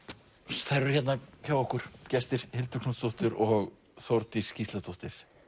þær eru hérna hjá okkur gestir Hildur Knútsdóttir og Þórdís Gísladóttir